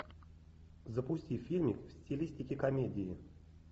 запусти фильмик в стилистике комедии